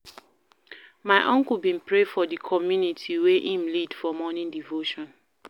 My uncle bin pray for di community wen im lead for morning devotion.